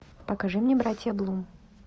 покажи мне братья блум